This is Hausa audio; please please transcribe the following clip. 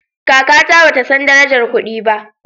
Kakata bata san darajar kudi ba